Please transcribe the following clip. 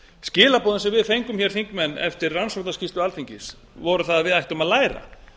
skilaboðin sem við fengum hér þingmenn eftir rannsóknarskýrslu alþingis voru þau að við ættum að læra